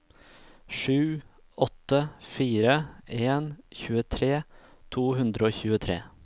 sju åtte fire en tjuetre to hundre og tjuetre